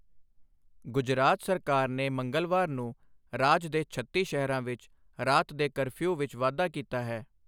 ਗੁਜਰਾਤ ਸਰਕਾਰ ਨੇ ਮੰਗਲਵਾਰ ਨੂੰ ਰਾਜ ਦੇ ਛੱਤੀ ਸ਼ਹਿਰਾਂ ਵਿੱਚ ਰਾਤ ਦੇ ਕਰਫਿਊਵਿੱਚ ਵਾਧਾ ਕੀਤਾ ਹੈ।